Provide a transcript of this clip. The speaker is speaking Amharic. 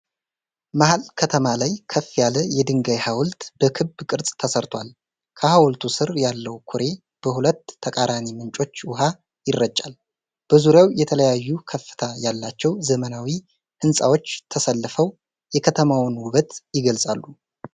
መሐል ከተማ ላይ ከፍ ያለ የድንጋይ ሐውልት በክብ ቅርጽ ተሰርቶአል። ከሐውልቱ ስር ያለው ኩሬ በሁለት ተቃራኒ ምንጮች ውኃ ይረጫል። በዙሪያው የተለያዩ ከፍታ ያላቸው ዘመናዊ ህንፃዎች ተሰልፈው የከተማዋን ውበት ይገልጻሉ።